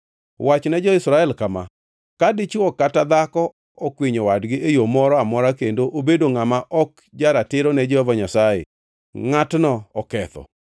“Wachne jo-Israel kama: ‘Ka dichwo kata dhako okwinyo wadgi e yo moro amora kendo obedo ngʼama ok ja-ratiro ne Jehova Nyasaye, ngʼatno oketho